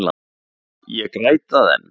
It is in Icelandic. Ég græt það enn.